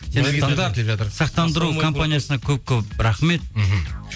сақтандыру компаниясына көп көп рахмет мхм